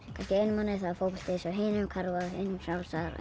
kannski einum mánuði er fótbolti hinum karfa hinum frjálsar